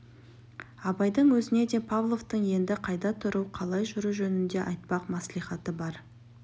абайдың өзіне де павловтың енді қайда тұру қалай жүру жөнінде айтпақ мәслихаты бар